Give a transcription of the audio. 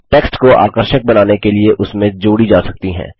text को आकर्षक बनाने के लिए उसमें जोड़ी जा सकती हैं